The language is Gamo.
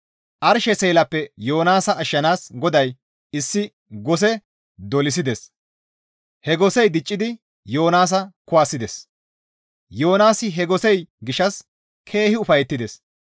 Arshe seelappe Yoonaasa ashshanaas GODAY issi gose dolisides; he gosey diccidi Yoonaasa kuwasides; Yoonaasi he gosey gishshas keehi ufayettides.